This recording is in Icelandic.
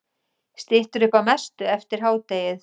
Styttir upp að mestu eftir hádegið